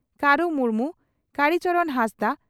ᱠᱟᱹᱨᱩ ᱢᱩᱨᱢᱩ ᱠᱟᱲᱤ ᱪᱚᱨᱚᱱ ᱦᱟᱸᱥᱫᱟᱜ